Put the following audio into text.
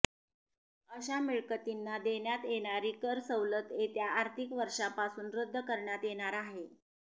अशा मिळकतींना देण्यात येणारी कर सवलत येत्या आर्थिक वर्षांपासून रद्द करण्यात येणार आहे